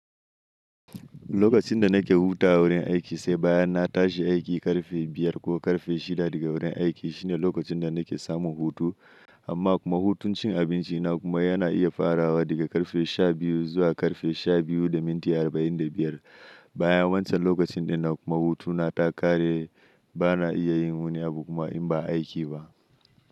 Lokacin da nake hutawa wurin aiki sai bayan na tashi aiki ƙarfe biyar ko ƙarfe shida daga wurin aiki shine lokacin da nake samu hutu amma kuma hutun cin abinci na kuma yana iya farawa daga ƙarfe sha biyu zuwa ƙarfe sha biyu da minti arba'in da biyar bayan wancan lokacin dai na kuma hutu na takare bana iya yin wani abu kuma in ba aiki ba.